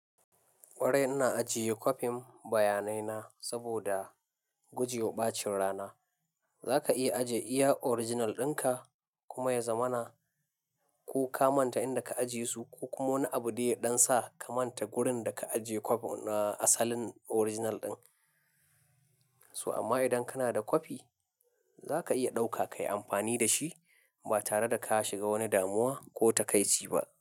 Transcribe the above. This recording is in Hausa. Kwarai ina ajiye kwafin bayanai na saboda guje wa ɓacin rana. Zaka iya ajiye iya original ɗinka kuma ya zamana, ko ka manta inda ka ajiye su ko kuma wani abu dai ya ɗan sa ka manta wurin da ka ajiye kwafin na asalin original ɗin. So amma idan kana da kwafi, zaka iya ɗauka kayi amfani da shi ba tare da ka shiga wani damuwa ko takaici ba.